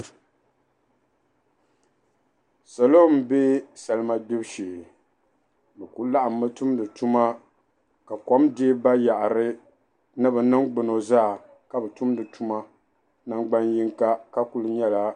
Salo m-be salima gbibu shee be kuli laɣimi tumdi tuma ka kom deei bayaɣiri ni be niŋgbuno zaa ka be tumdi tuma nangban yiŋga ka kuli nyɛla.